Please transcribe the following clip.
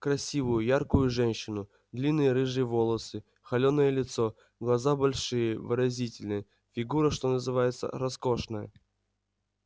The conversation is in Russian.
красивую яркую женщину длинные рыжие волосы холёное лицо глаза большие выразительные фигура что называется роскошная